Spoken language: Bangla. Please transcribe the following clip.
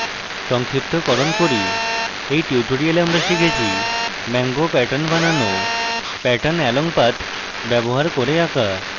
সংক্ষিপ্তকরণ করি in tutorial আমরা শিখেছি ম্যাংগো প্যাটার্ন বানানো pattern along path ব্যবহার করে আঁকা